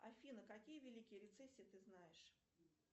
афина какие великие рецессии ты знаешь